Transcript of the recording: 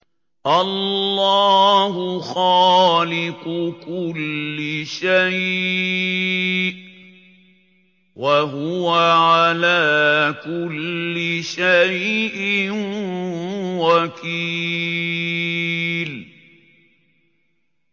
اللَّهُ خَالِقُ كُلِّ شَيْءٍ ۖ وَهُوَ عَلَىٰ كُلِّ شَيْءٍ وَكِيلٌ